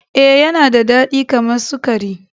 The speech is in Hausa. Ee, Yana da dadi kamar sukari.